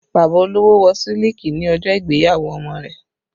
Bàbá olówó Wọ́ siliki ní ọjọ́ ìgbéyàwó ọmọ rẹ̀